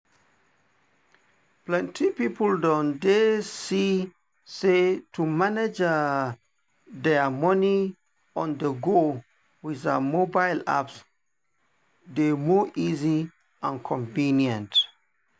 plenty people don dey see say to manage their money on-the-go with um mobile apps dey more easy and convenient.